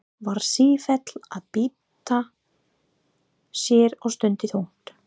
Var sífellt að bylta sér og stundi þungt.